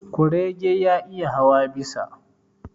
Kurege ya iya hawa bisa.